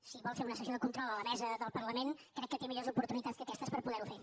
si vol fer una sessió de control a la mesa del parlament crec que té millors oportunitats que aquestes per poder ho fer